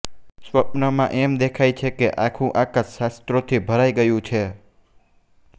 સ્વપ્નમાં એમ દેખાય છે કે આખું આકાશ શાસ્ત્રોથી ભરાઈ ગયું છે